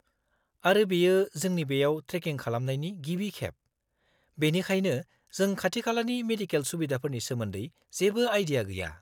-आरो बेयो जोंनि बेयाव ट्रेकिं खालामनायनि गिबि खेब, बेनिखायनो जों खाथिखालानि मेडिकेल सुबिदाफोरनि सोमोन्दै जेबो आइडिया गैया।